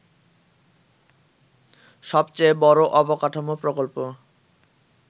সবচেয়ে বড় অবকাঠামো প্রকল্প